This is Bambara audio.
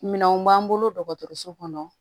Minɛnw b'an bolo dɔgɔtɔrɔso kɔnɔ